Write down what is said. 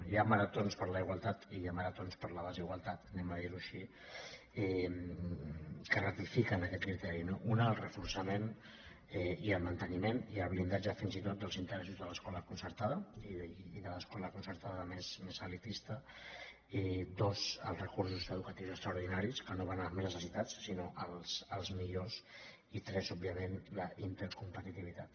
hi ha maratons per a la igualtat i hi ha maratons per a la desigualtat diguem ho així que ratifiquen aquest criteri no un el reforçament i el manteniment i el blindatge fins i tot dels interessos de l’escola concertada i de l’escola concertada més elitista dos els recursos educatius extraordinaris que no van als més necessitats sinó als millors i tres òbviament la intercompetitivitat